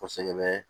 Kɔsɛbɛ